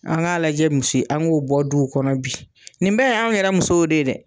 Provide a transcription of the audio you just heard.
An k'a lajɛ an k'o bɔ duw kɔnɔ bi, nin bɛɛ y'anw yɛrɛ musow de ye dɛ.